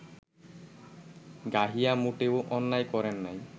গাহিয়া মোটেও অন্যায় করেন নাই